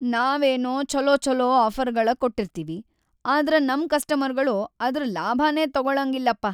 ನಾವೇನೊ ಛೊಲೊಛೊಲೊ ಆಫರ್‌ಗಳ್‌ ಕೊಟ್ಟಿರ್ತೀವಿ, ಆದ್ರ ನಮ್‌ ಕಸ್ಟಮರ್ಗಳು ಅದ್ರ ಲಾಭನೇ ತೊಗೊಳಂಗಿಲ್ಲಪಾ.